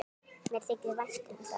Mér þykir vænt um það.